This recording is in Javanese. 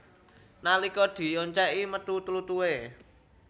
Nalika dioncèki metu tlutuhé